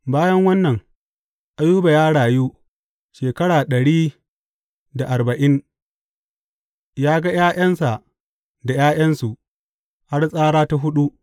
Bayan wannan Ayuba ya rayu shekara ɗari da arba’in; ya ga ’ya’yansa da ’ya’yansu har tsara ta huɗu.